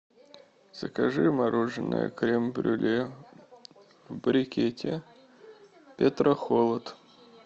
закажи мороженое крем брюле в брикете петрохолод